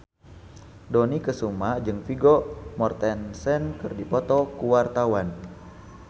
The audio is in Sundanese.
Dony Kesuma jeung Vigo Mortensen keur dipoto ku wartawan